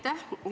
Aitäh!